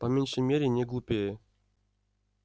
по меньшей мере не глупее